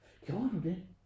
Gjorde du det?